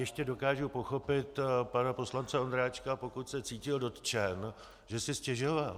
Ještě dokážu pochopit pana poslance Ondráčka, pokud se cítil dotčen, že si stěžoval.